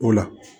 O la